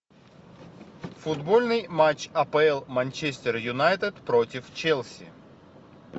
футбольный матч апл манчестер юнайтед против челси